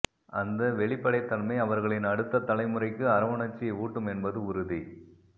அந்த வெளிப்படைத்தன்மை அவர்களின் அடுத்த தலைமுறைக்கு அறவுணர்ச்சியை ஊட்டும் என்பது உறுதி